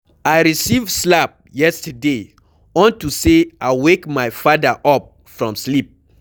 I receive slap yesterday unto say I wake my father up from sleep.